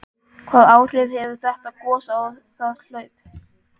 Hvaða áhrif hefur þetta gos á það hlaup?